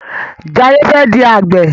Jaye fè di Àgbẹ̀.